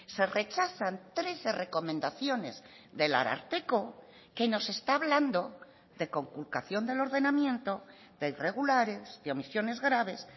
se rechazan trece recomendaciones del ararteko que nos está hablando de conculcación del ordenamiento de irregulares de omisiones graves